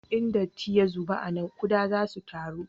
In datti ya zube a nan, kuɗa za su taru